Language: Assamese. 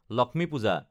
লক্ষ্মী পূজা